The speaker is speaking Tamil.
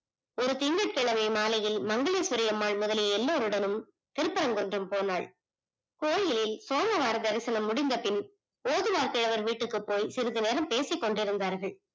ஒரு திங்கள் கிழமை மாலையில் மங்கலேஷ்வரி அம்மாள் முதலில் எல்லாரிடமும் திருப்பரம்குன்றம் போனால் கோவிலில் சோழ ஆராதனா தரிசனம் முடிந்த பின் லோகநாத் அவர்கள் வீட்டுக்கு போய் சிறிது நேரம் பேசிக்கொண்டிருந்தார்கள்